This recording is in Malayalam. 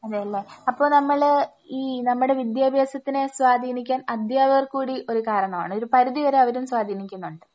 അതെ അല്ലേ. അപ്പോ നമ്മള് ഈ നമ്മുടെ വിദ്യാഭ്യാസത്തിനെ സ്വാധീനിക്കാൻ അധ്യാപകർ കൂടി ഒരു കാരണമാണ്. ഒരുപരിധിവരെ അവരും സ്വാധീനിക്കുന്നുണ്ട്.